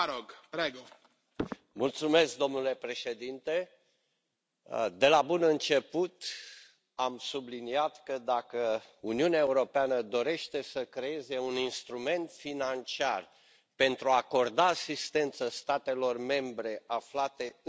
Domnule președinte, de la bun început am subliniat că dacă Uniunea Europeană dorește să creeze un instrument financiar pentru a acorda asistență statelor membre aflate în dificultate financiară,